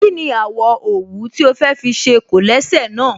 Kí ni àwọ̀ òwú tí o fẹ́ fi ṣe kólẹ̀sẹ̀ náà?